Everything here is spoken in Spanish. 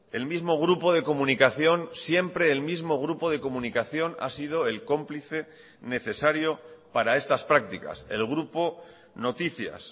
el mismo grupo de comunicación siempre el mismo grupo de comunicación ha sido el cómplice necesario para estas prácticas el grupo noticias